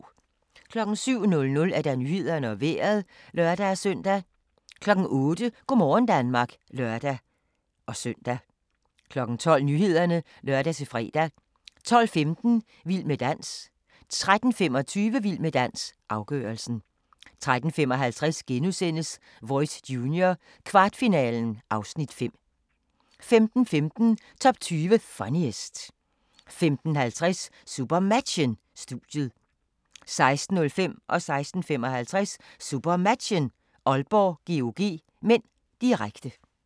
07:00: Nyhederne og Vejret (lør-søn) 08:00: Go' morgen Danmark (lør-søn) 12:00: Nyhederne (lør-fre) 12:15: Vild med dans 13:25: Vild med dans – afgørelsen 13:55: Voice Junior - kvartfinalen (Afs. 5)* 15:15: Top 20 Funniest 15:50: SuperMatchen: Studiet 16:05: SuperMatchen: Aalborg-GOG (m), direkte 16:55: SuperMatchen: Aalborg-GOG (m), direkte